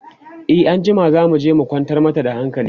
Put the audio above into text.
e anjima zamuje mu kwantar mata da hankali